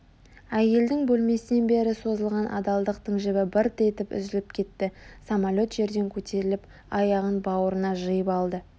Әйелдің бөлмесінен бері созылған адалдықтың жібі бырт етіп үзіліп кетті самолет жерден көтеріліп аяғын бауырына жиып алды